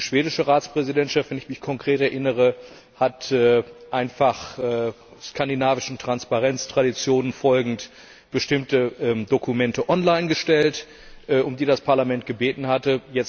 Die schwedische Ratspräsidentschaft wenn ich mich konkret erinnere hat einfach, skandinavischen Transparenztraditionen folgend, bestimmte Dokumente online gestellt, um die das Parlament gebeten hatte.